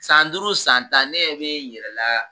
San duuru san tan ne ɲɛ bɛ n yɛrɛla.